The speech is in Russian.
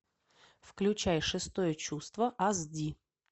включай шестое чувство ас ди